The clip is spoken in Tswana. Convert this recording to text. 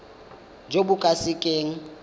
jo bo ka se keng